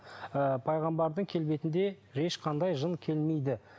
ы пайғамбардың келбетінде ешқандай жын келмейді